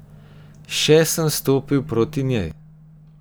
Še sem stopil proti njej.